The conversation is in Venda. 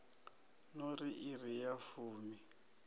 no ri iri ya fumi